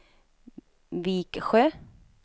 Viksjö